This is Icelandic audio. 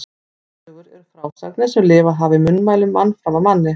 Þjóðsögur eru frásagnir sem lifað hafa í munnmælum mann fram af manni.